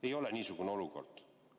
Ei ole niisugune olukord.